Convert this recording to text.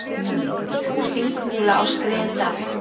Líparít úr Þingmúla á Skriðdal.